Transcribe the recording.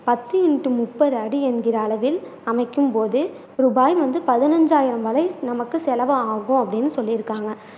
பத்து இண்டு முப்பது அடி என்கிற அளவில் அமைக்கும் போது ரூபாய் வந்து பதினைந்து ஆயிரம் வரை நமக்கு செலவாகும் அப்படின்னு சொல்லி இருக்காங்க